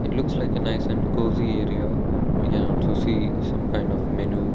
it looks like a nice and cosy area we can also see some kind of menu.